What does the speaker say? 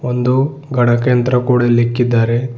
ಒಂದು ಗಣಕ ಯಂತ್ರ ಕೂಡ ಇಲ್ ಇಕ್ಕಿದ್ದಾರೆ.